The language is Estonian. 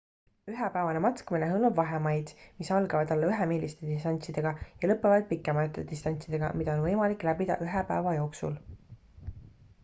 ühe päevane matkamine hõlmab vahemaid mis algavad alla ühe miiliste distantsidega ja lõpevad pikemate distantsidega mida on võimalik läbida ühe päeva jooksul